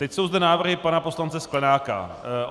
Teď jsou zde návrhy pana poslance Sklenáka.